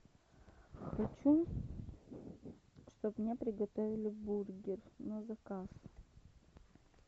хочу чтобы мне приготовили бургер на заказ